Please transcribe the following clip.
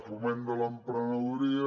foment de l’emprenedoria